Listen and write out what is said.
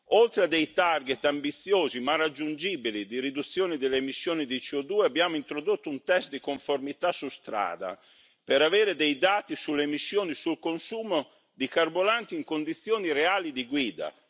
Oltre a target ambiziosi ma raggiungibili di riduzione delle emissioni di CO2, abbiamo introdotto un test di conformità su strada per avere dei dati sulle emissioni e sul consumo di carburanti in condizioni reali di guida.